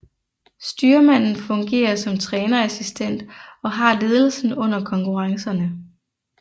Styrmanden fungerer som trænerassistent og har ledelsen under konkurrencerne